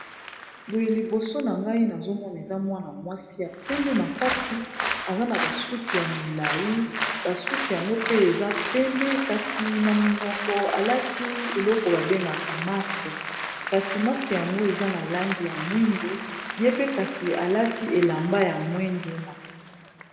boye liboso na ngai nazomona eza mwana mwasi ya pembe makasi eza na basuki ya milai basuki yango pe eza pembe kasi na munoko alati eloko babengaka maske kasi maske yango eza na langi ya mwindu ye pe kasi alati elamba ya mwindu makasi